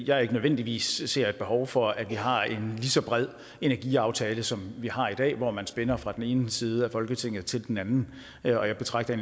jeg ikke nødvendigvis ser et behov for at vi har en lige så bred energiaftale som vi har i dag hvor man spænder fra den ene side af folketinget til den anden jeg betragter